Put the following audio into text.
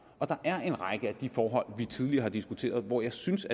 og der er en række af de forhold vi tidligere har diskuteret hvor jeg synes